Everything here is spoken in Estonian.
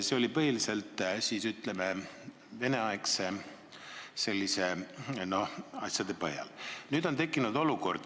See oli tehtud põhiliselt, ütleme, veneaegsete, noh, asjade põhjal.